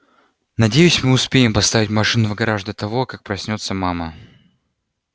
надеюсь мы успеем поставить машину в гараж до того как проснётся мама